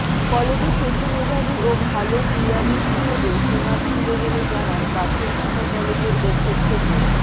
কলেজে সেতু মেধাবী ও ভালো ক্রীড়াবিদ হিসেবে সুনাম ছিল বলে জানান পাথরঘাটা কলেজের অধ্যক্ষ মো